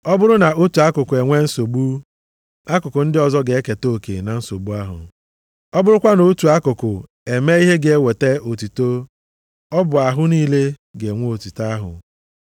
Ọ bụrụ na otu akụkụ enwe nsogbu, akụkụ ndị ọzọ ga-eketa oke na nsogbu ahụ. Ọ bụrụkwa na otu akụkụ emee ihe ga-eweta otuto ọ bụ ahụ niile na-enwe otuto ahụ.